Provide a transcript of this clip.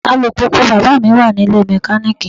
Alùpùpù bàbáà mi wà nílée mẹkaníìkì.